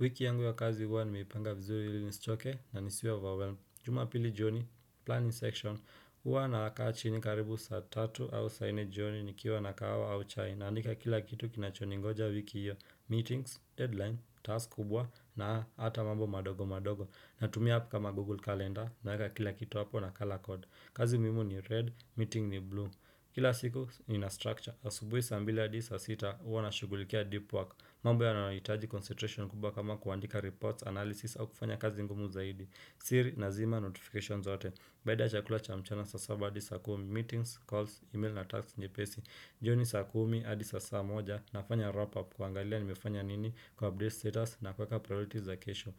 Wiki yangu ya kazi huwa nimeipanga vizuri ili nisichoke na nisiwe overwhelm. Jumapili jioni, planning section, huwa nakaa chini karibu saa tatu au saa ine jioni nikiwa na kahawa au chai. Naandika kila kitu kinachoningoja wiki hiyo, meetings, deadline, task kubwa na hata mambo madogo madogo. Natumia app kama Google Calendar naweka kila kitu hapo na color code. Kazi muhimu ni red, meeting ni blue. Kila siku ni na structure, asubuhi mbili hadi saa sita, huwa nashughulikia deep work. Mambo yanayohitaji concentration kubwa kama kuandika reports, analysis au kufanya kazi ngumu zaidi, siri nazima notifications zote Baada ya chakula cha mchana saa saba hadi saa kumi Meetings, calls, email na task nyepesi jioni saa kumi hadi sahizi saa moja nafanya wrap up kuangalia nimefanya nini ku update status na kuweka priorities za kesho